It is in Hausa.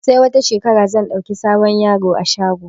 Sai wata shekarar zan ɗauki sabon yaro a shago